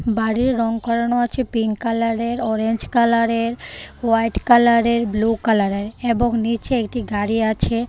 বাড়ির রঙ করানো আছে পিংক কালারের অরেঞ্জ কালারের হোয়াইট কালারের ব্লু কালারের এবং নীচে একটি গাড়ি আছে .